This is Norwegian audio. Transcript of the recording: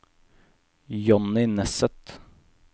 Johnny Nesset